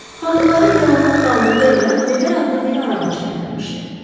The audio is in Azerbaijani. Xanımları Delamot qaldığı evə Veber adlı bir arabacı gətirmişdi.